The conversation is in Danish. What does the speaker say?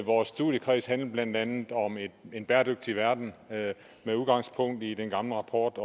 vores studiekreds handlede blandt andet om en bæredygtig verden med udgangspunkt i den gamle rapport